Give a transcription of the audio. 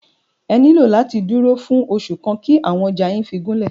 Ẹ máa nílò láti dúró fún oṣù kan kí àwọn ọjà yín fí gúnlẹ̀.